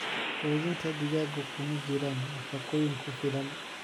Quudinta digaaggu kuma jiraan nafaqooyin ku filan.